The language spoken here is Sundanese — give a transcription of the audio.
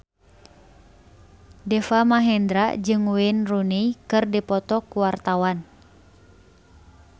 Deva Mahendra jeung Wayne Rooney keur dipoto ku wartawan